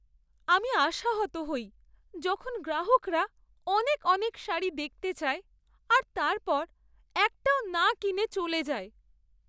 আমি আশাহত হই যখন গ্রাহকরা অনেক অনেক শাড়ি দেখতে চায় আর তারপর একটাও না কিনে চলে যায়।